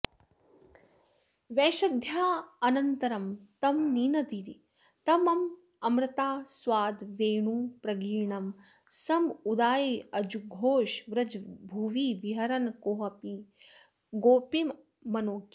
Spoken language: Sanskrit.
वैशद्यायान्तरं तं निनदितममृतास्वादवेणुप्रगीर्णं सम्मोदायाजुघोष व्रजभुवि विहरन् कोऽपि गोपीमनोज्ञः